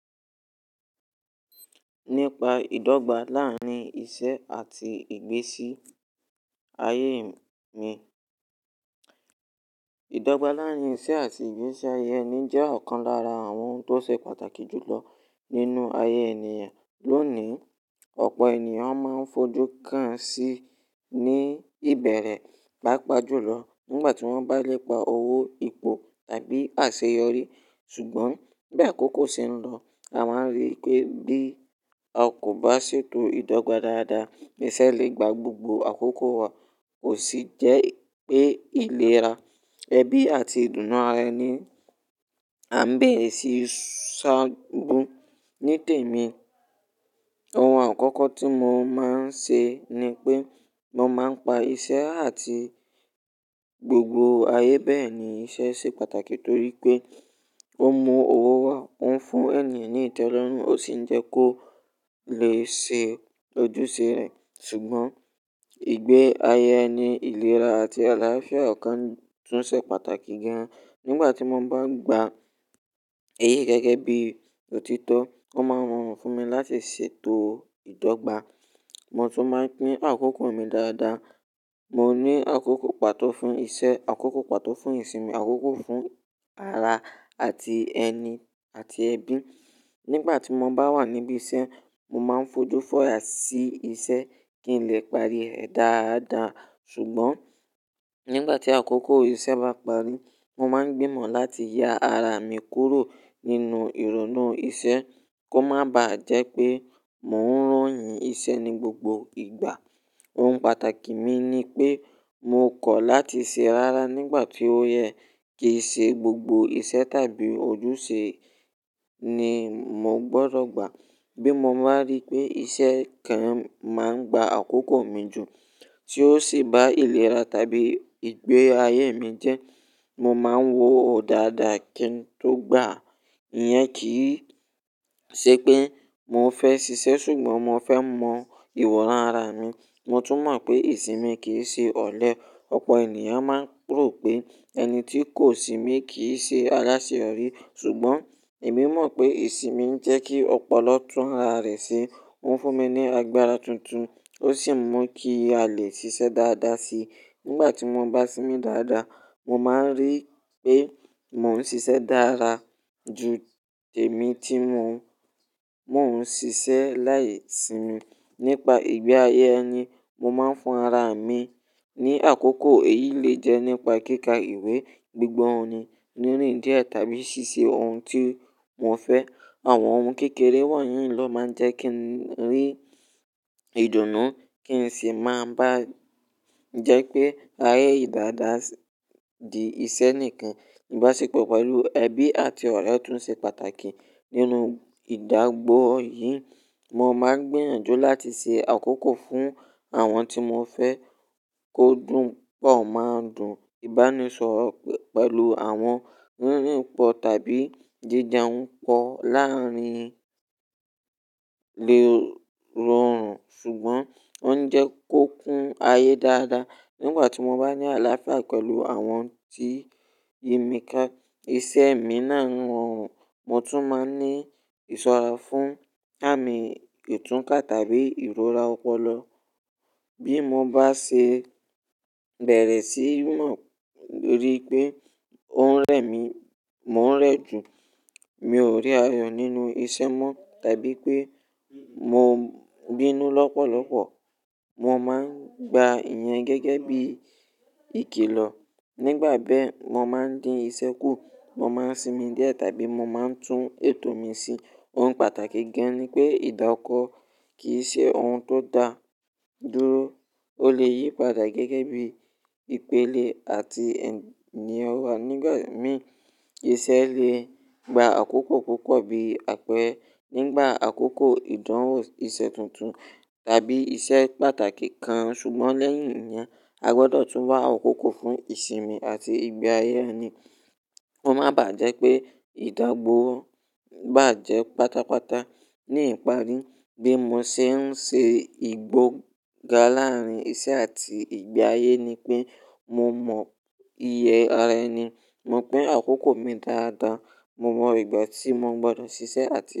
Nípa ìdọ́gba láàrín iṣẹ́ àti ìgbésí ayé mi. Ìdọ́gba láàrín iṣẹ́ àti ìgbésí ayé ẹni jẹ́ ọ̀kan lára àwọn ohun tó ṣe pàtàkì jù lọ nínú ayé ènìyàn. Lónìí, ọ̀pọ̀ ènìyàn máa ń fojú kàán sí ní ìbẹ̀rẹ̀, pápa jùlọ nígbà tí wọ́n bá lè pa owó, ipò tàbí àṣeyọrí. Ṣùgbọ́n, bí àkókò ṣe ń lọ, a máa ń rí pé bí a kò bá ṣètò ìdọ́gba dáadáa, ìṣe lè gba gbogbo àkókò wa. Kò sì jẹ́ pé ìlera, ẹbí àti ìdùnnú ara ẹni à ń bèrè sì sá gun. Ní tèmi, àwọn àkókò tí mo máa ń ṣe ni pé mo máa ń pa iṣẹ́ àti gbogbo ayé. Bẹ́ẹ̀ ni iṣẹ́ ṣe pàtàkì torí pé ó mú owó wá, ó ń fún ènìyàn ní ìtẹ́lọ́rùn, ó sì ń jẹ́ kó lè ṣe ojúṣe rẹ̀. Ṣùgbọ́n ìgbé ayé ẹni, ìlera àti àlàáfíà ọ̀kan tún ṣe pàtàkì gan. Nígbà tí mo bá gba eyí gẹ́gẹ́ bí òtítọ́, ó máa ń rọrùn fún mi láti ṣètò ìdọ́gba. Mo tún máa ń pín àkókò mi dáadáa. Mo ní àkókò pàtó fún iṣẹ́, àkókò pàtó fún ìsinmi, àkókò fún ara àti ẹni àti ẹbí. Nígbà tí mo bá wà níbí iṣẹ́, mo máa ń fojú fọya sí iṣẹ́ kí n lè parí rẹ̀ dáadáa. Ṣùgbọ́n nígbà tí àkókò iṣẹ́ bá parí, mo máa ń gbìmọ̀ láti ya ara mi kúrò nínú ìrònú iṣẹ́ kó má bàá jẹ́ pé mò ń ròyìn iṣẹ́ ní gbogbo ìgbà. Ohun pàtàkì mi ni pé mo kọ̀ láti ṣe rárá nígbà tí ó yẹ. Kì í ṣe gbogbo iṣẹ́ tàbí ojúṣe ni mo gbọdọ̀ gbà. Bí mo baá rí pé iṣẹ́ kan máa ń gba àkókò mi jù tí ó sì bá ìlera tàbí ìgbé ayé mi jẹ́, mo máa ń wo ò dàadàa kí ń tó gbà á. Ìyẹn kì í ṣe pé mo fẹ́ ṣiṣẹ́ ṣùgbọ́n mo fẹ́ mọ ìwọ̀n ara mi. Mo tún mọ̀ pé ìsinmi kì í ṣe ọ̀lẹ. Ọ̀pọ̀ ènìyàn máa ń rò pé ẹni tí kò sinmi kì í ṣe aláṣeyọrí. Ṣùgbọ́n èmi mọ̀ pé ìsinmi ń jẹ́ kí ọpọlọ tún ara rẹ̀ ṣe. Ó ń fún mi ní agbára tuntun, ó sì mú kí a lè ṣiṣẹ́ dáadáa si. Nígbà tí mo bá sinmi dáadáa, mo máa ń rí pé mò ń ṣiṣẹ́ dára ju èmi tí mo, mò ń ṣiṣẹ́ láì sinmi. Nípa ìgbé ayé ẹni, mo máa ń fún ara mi ní àkókò èyí lè jẹ́ nípa kíka ìwé, gbígbọ́ orin nírìndín ẹ́ tàbí ṣíṣe ohun tí mo fẹ́. Àwọn ohun kékeré wọ̀nyí ló máa ń jẹ́ kí n rí ìdùnnú kí n sì máa bá jẹ́ pé ayé yìí dàda dí iṣẹ́ nìkan. Ìbáṣepọ̀ pẹ̀lú ẹbí àti ọ̀rẹ́ tún ṣe pàtàkì. Nínú ìdágbò yìí, mo máa ń gbiyànjú láti ṣe àkókò fún àwọn tí mo fẹ́ kó dùn pọ̀ máa dùn. Ìbánisọ̀rọ̀ pẹ̀lú àwọn rírin pọ tàbí jíjẹun pọ láàrín lè rọrùn ṣùgbọ́n ó ń jẹ́ kó kún ayé dáadáa. Nígbà tí mo bá ní àlàáfíà pẹ̀lú àwọn tí yimi ká, iṣẹ́ mi náà ń rọrùn. Mo tún máa ń ní ìṣọ́ra fún àmì ìtúnkà tàbí ìrora ọpọlọ. Bí mo bá ṣe bẹ̀rẹ̀ sí mo ntorí pé ohun rẹ̀ mi mò ń rẹ jù, mi ò rí ayọ̀ nínú iṣẹ́ mọ́ tàbí pé mo ń bínú lọ́pọ̀lọ́pọ̀, mo máa ń gba ìyẹn gẹ́gẹ́ bí ìkìlọ̀. Nígbà bẹ́ẹ̀, mo máa ń dín iṣẹ́ kù, mo máa ń sinmi díẹ̀ tàbí mo máa ń tún ètò mi ṣe. Ohun pàtàkì gan ni pé ìdọ́kọ̀ kì í ṣe ohun tó da dúró. Ó lè yí padà gẹ́gẹ́ bí ìpélé àti ẹ̀ni ọwọ́. Nígbà mìí, iṣẹ́ lè gba àkókò púpọ̀ bí àpẹ́re nígbà àkókò ìdánwò iṣẹ́ tuntun tàbí iṣẹ́ pàtàkì kan. Ṣùgbọ́n lẹ́yìn ìyẹn, a gbọdọ̀ tún wá àkókò fún ìsinmi àti ìgbé ayé ẹni. Ko má bàá jẹ́ pé ìdágbò bá jẹ́ pátápátá. Ní ìparí, bí mo ṣe ń ṣe ìgbega láàrín iṣẹ́ àti ìgbé ayé ni pé mo mọ iye ara ẹni, mo pín àkókò mi dáadáa, mo mọ ìgbà tí mo gbọdọ̀ ṣiṣẹ́ àti.